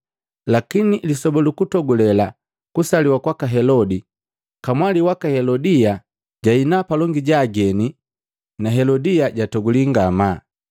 Lakini lisoba lukutogule kusaliwa kwaka Helodi, kamwali waka Helodia jahina palongi ja ageni na Helodi jatoguli ngamaa,